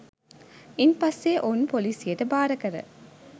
ඉන්පස්සේ ඔවුන් පොලිසියට භාරකර